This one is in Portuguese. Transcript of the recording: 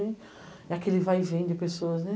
E aquele vai e vem de pessoas, né.